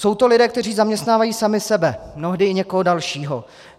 Jsou to lidé, kteří zaměstnávají sami sebe, mnohdy i někoho dalšího.